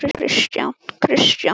Hvaða rugl er í þér núna?